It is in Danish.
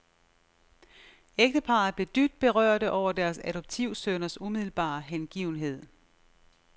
Ægteparret blev dybt berørte over deres adoptivsønners umiddelbare hengivenhed.